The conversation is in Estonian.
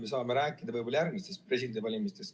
Me saame rääkida võib-olla järgmistest presidendivalimistest.